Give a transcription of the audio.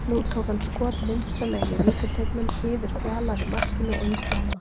Nú tók hann skot vinstra megin í vítateignum, yfir Fjalar í markinu og í slána.